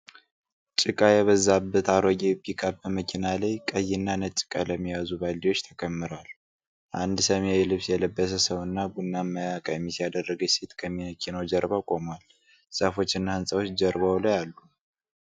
ጭቃ የበዛበት አሮጌ ፒክአፕ መኪና ላይ ቀይና ነጭ ቀለም የያዙ ባልዲዎች ተከምረዋል። አንድ ሰማያዊ ልብስ የለበሰ ሰውና ቡናማ ቀሚስ ያደረገች ሴት ከመኪናው ጀርባ ቆመዋል። ዛፎችና ሕንፃዎች ጀርባው ላይ አሉ።